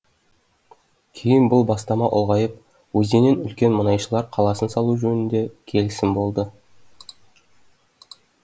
кейін бұл бастама ұлғайып өзеннен үлкен мұнайшылар қаласын салу жөнінде келісім болды